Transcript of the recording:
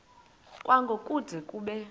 kwango kude kube